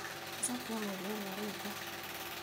ũcoke ũmwĩre ũrĩa ũrenda